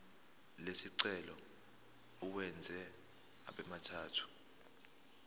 lesicelo uwenze abemathathu